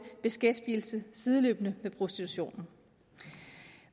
beskæftigelse sideløbende med prostitutionen